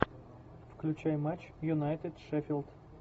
включай матч юнайтед шеффилд